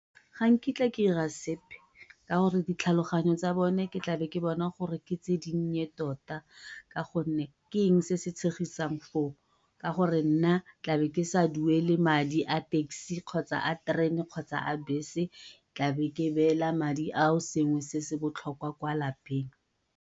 Ga nkitla ke ira sepe ka gore ditlhaloganyo tsa bone ke tla be ke bona gore ke tse dinnye tota, ka gonne ke eng se se tshegisang foo, ka gore nna ke tlabe ke sa duele madi a taxi, kgotsa a terene, kgotsa a bese, tlabe ke beela madi a o sengwe se se botlhokwa kwa lapeng.